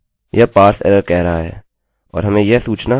यह parse error कह रहा है और हमें यह सूचना यहाँ पर मिल रही है